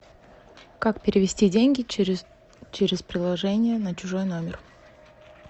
как перевести деньги через приложение на чужой номер